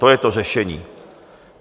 To je to řešení.